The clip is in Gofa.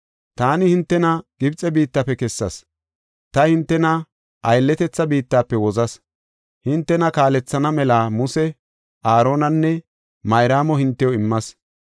Taani hintena Gibxe biittafe kessas; ta hintena aylletetha biittafe wozas. Hintena kaalethana mela Muse, Aaronanne Mayraamo hintew immas.